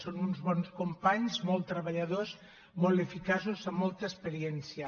són uns bons companys molt treballadors molt eficaços amb molta experiència